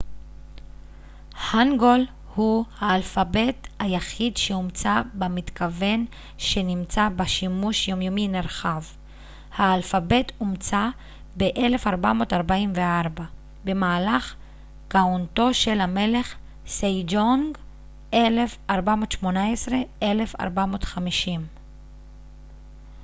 הנגול הוא האלפבית היחיד שהומצא במתכוון שנמצא בשימוש יומיומי נרחב. האלפבית הומצא ב-1444 במהלך כהונתו של המלך סייג'ונג 1418 - 1450